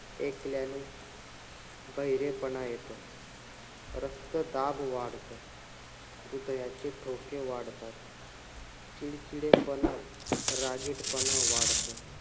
ऐकल्याने बहिरेपणा येतो. रक्तदाब वाढतो. ह्रदयाचे ठोके वाढतात. चिडचिडेपणा, रागीटपणा वाढतो.